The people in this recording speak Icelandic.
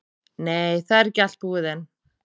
Nei, það er ekki allt búið enn.